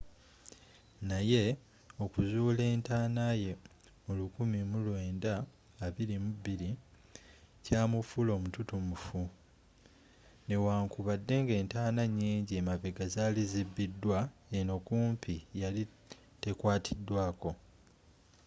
naye okuzuula entanaaye mu 1922 kyamufuula omututumufu newankubadde nga entaana nyinji emabega zaali zibbiddwa eno kumpi yali tekwaatiddwaako